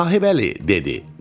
Sahibəli dedi: